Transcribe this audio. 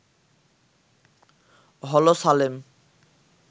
হলো সালেম